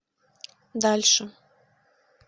дальше